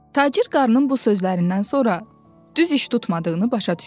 Tacir qarının bu sözlərindən sonra düz iş tutmadığını başa düşdü.